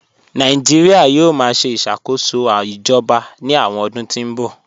Nàìjíríà yóò máa ṣe ìṣàkóso ìjọba ní àwọn ọdún tí ń bọ̀